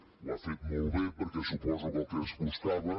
ho ha fet molt bé perquè suposo que el que es buscava